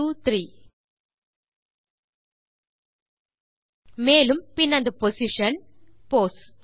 123 மேலும் பின் அந்த பொசிஷன் போஸ்